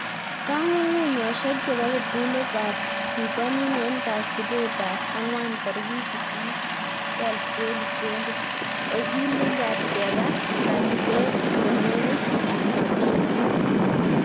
Kong'ung'unyoshek chebo kiptulit ab bitonin en kasitab ang'wan 08/12/2020: Ozil, Lingard, Kepa, Vazquez, Romero, Fabinho